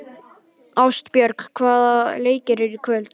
Ástbjörg, hvaða leikir eru í kvöld?